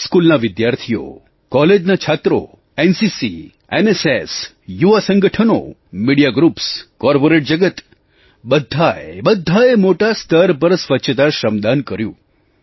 સ્કૂલના વિદ્યાર્થીઓ કૉલેજના છાત્રો એનસીસીNCC એનએસએસNSS યુવાં સંગઠનો મીડિયા ગ્રુપ્સ કૉર્પોરેટ જગત બધાએ બધાએ મોટા સ્તર પર સ્વચ્છતા શ્રમદાન કર્યું